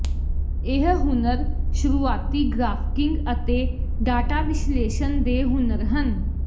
ਇਹ ਹੁਨਰ ਸ਼ੁਰੂਆਤੀ ਗ੍ਰਾਫਿਕਿੰਗ ਅਤੇ ਡਾਟਾ ਵਿਸ਼ਲੇਸ਼ਣ ਦੇ ਹੁਨਰ ਹਨ